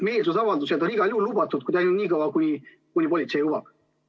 Meelsusavaldused on igal juhul lubatud nii kaua, kuni politsei lubab.